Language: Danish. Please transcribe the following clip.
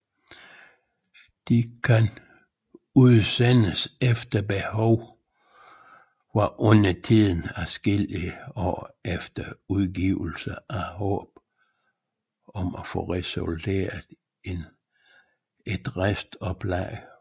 De kan udsendes efter behov og undertiden adskillige år efter udgivelsen i håb om at få realiseret et restoplag